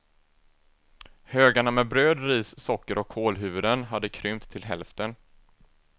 Högarna med bröd, ris, socker och kålhuvuden hade krympt till hälften.